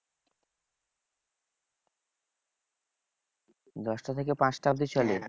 দশটা থেকে পাঁচটা অব্ধি চলে?